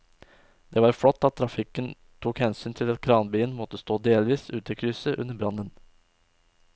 Det var flott at trafikken tok hensyn til at kranbilen måtte stå delvis ute i krysset under brannen.